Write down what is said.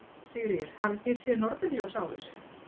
Sigríður: Hafið þið séð norðurljós áður?